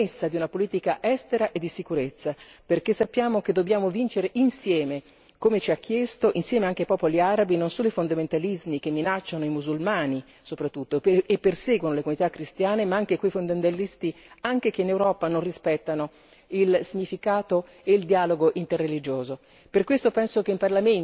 Credo che questa sia la premessa di una politica estera e di sicurezza, perché sappiamo che dobbiamo vincere insieme come ci ha chiesto il monarca hashemita insieme anche ai popoli arabi, non solo i fondamentalismi, che minacciano i musulmani soprattutto e perseguono le comunità cristiane ma anche quei fondamentalisti che anche in Europa non rispettano il significato e il dialogo interreligioso.